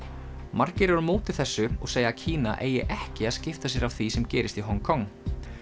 margir eru á móti þessu og segja að Kína eigi ekki að skipta sér af því sem gerist í Hong Kong